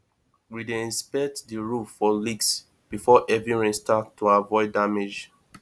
we dey inspect the roof for leaks before heavy rain start to avoid damage